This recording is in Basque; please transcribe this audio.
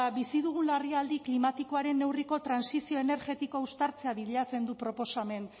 bizi dugun larrialdi klimatikoaren neurriko trantsizio energetiko uztartzea bilatzen du